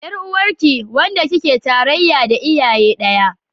Yar uwarki, wanda kike tarayya da iyaye daya